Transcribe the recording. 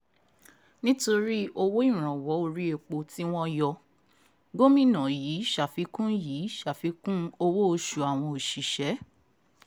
nítorí owó ìrànwọ́ orí epo tí wọ́n yọ gómìnà yìí ṣàfikún yìí ṣàfikún owó-oṣù àwọn òṣìṣẹ́